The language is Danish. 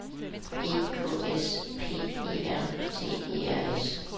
E K S P E R T E R S